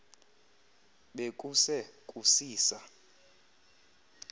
be kuse kusisa